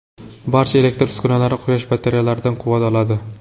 Barcha elektr uskunalar quyosh batareyalaridan quvvat oladi.